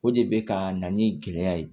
O de bɛ ka na ni gɛlɛya ye